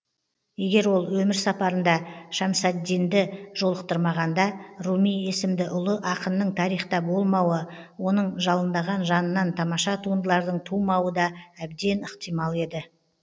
егер ол өмір сапарында шәмсаддинді жолықтырмағанда руми есімді ұлы ақынның тарихта болмауы оның жалындаған жанынан тамаша туындылардың тумауы да әбден ықтимал еді